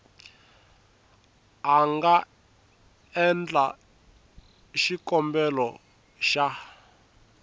a nga endla xikombelo xa